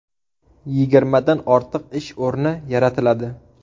Yigirmadan ortiq ish o‘rni yaratiladi.